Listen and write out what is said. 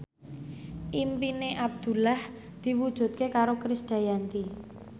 impine Abdullah diwujudke karo Krisdayanti